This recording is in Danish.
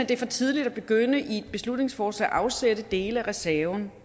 det er for tidligt at begynde i et beslutningsforslag at afsætte dele af reserven